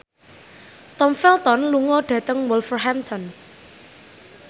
Tom Felton lunga dhateng Wolverhampton